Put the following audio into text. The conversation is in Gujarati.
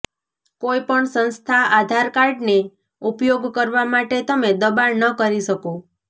કોઇપણ સંસ્થા આધાર કાર્ડને ઉપયોગ કરવા માટે તમે દબાણ ન કરી શકો